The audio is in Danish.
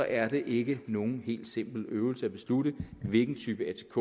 er det ikke nogen helt simpel øvelse at beslutte hvilken type atk